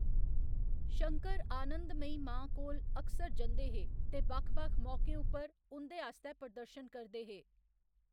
शंकर आनंदमयी मां कोल अक्सर जंदे हे ते बक्ख बक्ख मौकें उप्पर उं'दे आस्तै प्रदर्शन करदे हे।